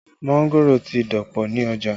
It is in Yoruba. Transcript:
Mángòrò ti dọ̀pọ̀ ní ọjà